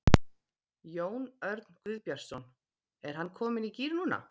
Jón Örn Guðbjartsson: Er hann kominn í gír núna?